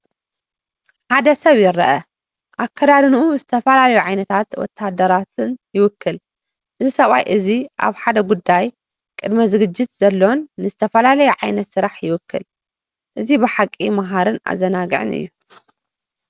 ሓደ ሰብኣ ይርአ፣ ኣከዳድንኡ ዝተፈላለዩ ዓይነታት ወተሃደራት ይውክል። እዚ ሰብኣይ እዚ ኣብ ሓደ ጉዳይ ቅድመ ዝግጅት ዘሎን ንዝተፈላለየ ዓይነት ስራሕ ይውክል። እዚ ብሓቂ መሃርን ኣዘናጋዕን እዩ።